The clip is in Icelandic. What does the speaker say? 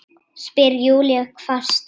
spyr Júlía hvasst.